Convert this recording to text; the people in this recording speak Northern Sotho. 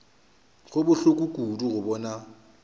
go bohloko kudu go bona